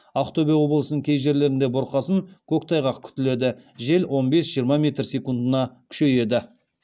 ақтөбе облысының кей жерлерінде бұрқасын көктайғақ күтіледі жел он бес жиырма метр секундына күшейеді